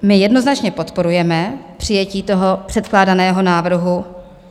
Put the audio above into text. My jednoznačně podporujeme přijetí toho předkládaného návrhu.